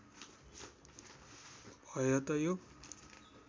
भए त यो